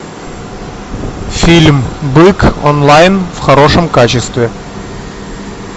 фильм бык онлайн в хорошем качестве